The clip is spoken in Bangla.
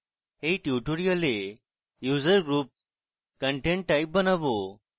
in tutorial user group content type বানানো